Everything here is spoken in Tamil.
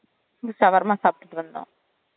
shawarma சாப்டு வந்தோம்